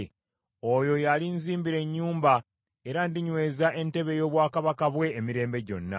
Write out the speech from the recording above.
Oyo y’alinzimbira ennyumba, era ndinyweza entebe ey’obwakabaka bwe emirembe gyonna.